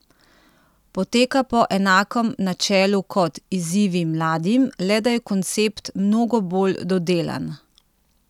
Poteka po enakem načelu kot Izzivi mladim, le da je koncept mnogo bolj dodelan.